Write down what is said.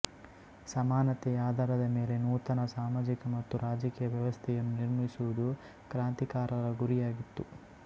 ಸಮಾನತೆಯ ಆಧಾರದ ಮೇಲೆ ನೂತನ ಸಾಮಾಜಿಕ ಮತ್ತು ರಾಜಕೀಯ ವ್ಯವಸ್ಥೆಯನ್ನು ನಿರ್ಮಿಸುವುದು ಕ್ರಾಂತಿಕಾರರ ಗುರಿಯಾಗಿತ್ತು